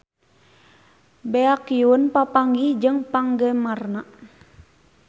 Baekhyun papanggih jeung penggemarna